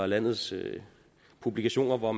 landets publikationer hvor